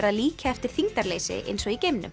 að líkja eftir þyngdarleysi eins og í geimnum